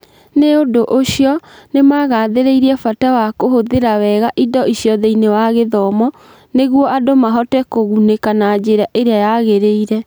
Nĩ ũndũ ũcio, nĩ magathĩrĩirie bata wa kũhũthĩra wega indo icio thĩinĩ wa gĩthomo nĩguo andũ mahote kũgunĩka na njĩra ĩrĩa yagĩrĩire.